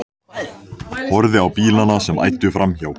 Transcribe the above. Horfði á bílana sem æddu framhjá.